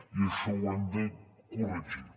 i això ho hem de corregir